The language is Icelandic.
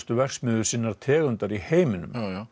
verksmiðjur sinnar tegundar í heiminum